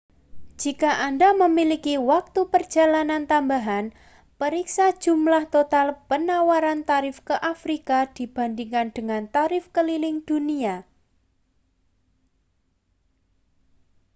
jika anda memiliki waktu perjalanan tambahan periksa jumlah total penawaran tarif ke afrika dibandingkan dengan tarif keliling dunia